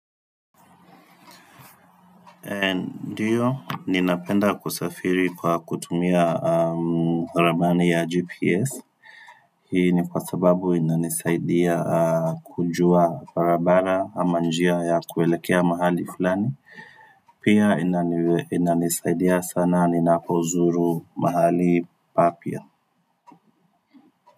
Ndio, ninapenda kusafiri kwa kutumia ramani ya GPS Hii ni kwa sababu inanisaidia kujua barabara ama njia ya kuelekea mahali fulani Pia inanisaidia sana, ninapozuru mahali papya.